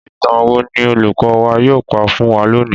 Ìtàn wo ni olùkọ́ wa yóò pa fún wa lónìí?